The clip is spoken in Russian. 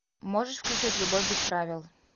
можешь включить любовь без правил